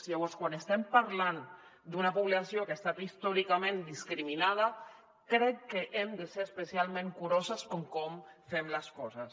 llavors quan estem parlant d’una població que ha estat històricament discriminada crec que hem de ser especialment curosos en com fem les coses